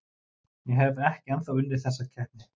Ég hef ekki ennþá unnið þessa keppni.